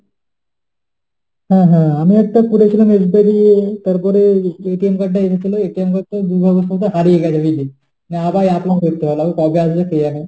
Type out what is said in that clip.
হ্যাঁ হ্যাঁ আমি একটা করেছিলাম SBI থেকে তারপর card ও এসেছিল। card টা কি বলতো দুর্ভাগ্যবশত হারিয়ে গেছে। বুঝলি, হ্যাঁ আবার apply করতে হবে কবে আসবে কে জানে,